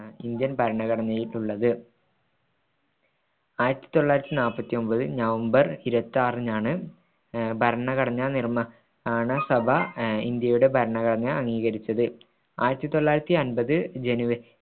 Indian ഭരണഘടനയായിട്ടുള്ളത് ആയിരത്തിതൊള്ളായിത്തിനാല്പത്തിയൊൻമ്പത് November ഇരുപത്തിയാറിനാണ്ഭ അഹ് ഭരണഘടനാ നിർമ്മാണസഭ അഹ് ഇന്ത്യയുടെ ഭരണഘടന അംഗീകരിച്ചത് ആയിരത്തിതൊള്ളായിരുത്തി അമ്പത് ജനുവരി